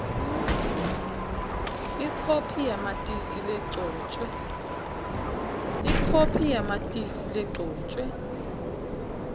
ikhophi yamatisi legcotjwe